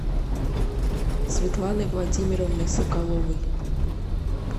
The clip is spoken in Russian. светланы владимировны соколовой